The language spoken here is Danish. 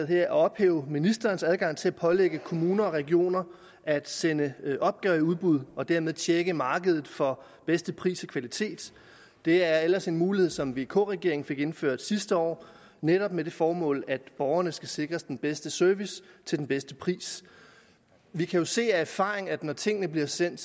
her at ophæve ministerens adgang til at pålægge kommuner og regioner at sende opgaver i udbud og dermed tjekke markedet for bedste pris og kvalitet det er ellers en mulighed som vk regeringen fik indført sidste år netop med det formål at borgerne skal sikres den bedste service til den bedste pris vi kan jo se af erfaringen at når tingene bliver sendt